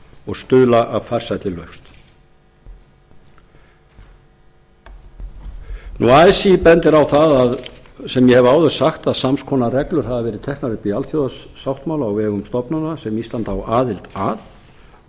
og stuðla að farsælli lausn así bendir á það sem ég hef áður sagt að sams konar reglur hafi verið teknar upp í alþjóðasáttmála á vegum stofnana sem ísland á aðild að og